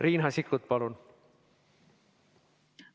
Riina Sikkut, palun!